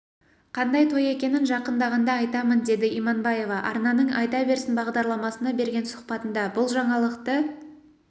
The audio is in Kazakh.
қандай той екенін жақындағанда айтамын деді иманбаева арнаның айта берсін бағдарламасына берген сұхбатында бұл жаңалықты